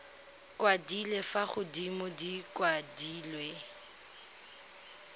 kwadilwe fa godimo di kwadilwe